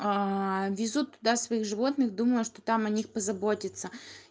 везут туда своих животных думая что там о них позаботятся